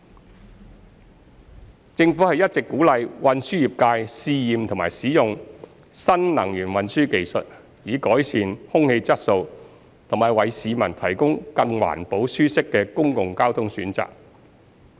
二政府一直鼓勵運輸業界試驗及使用新能源運輸技術，以改善空氣質素及為市民提供更環保舒適的公共交通選擇。